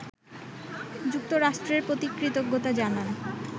যুক্তরাষ্ট্রের প্রতি কৃতজ্ঞতা জানান